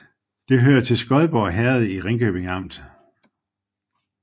Det hørte til Skodborg Herred i Ringkøbing Amt